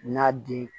N'a di